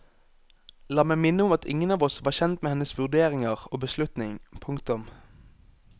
La meg minne om at ingen av oss var kjent med hennes vurderinger og beslutning. punktum